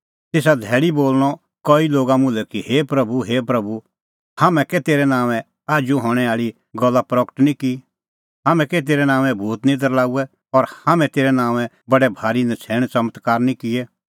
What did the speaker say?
तेसा धैल़ी बोल़णअ कई लोगा मुल्है कि हे प्रभू हे प्रभू हाम्हैं कै तेरै नांओंऐं आजू हणैं आल़ी गल्ला प्रगट निं की हाम्हैं कै तेरै नांओंऐं भूत निं दरल़ाऊऐ और हाम्हैं तेरै नांओंऐं बडै भारी नछ़ैण च़मत्कार निं किऐ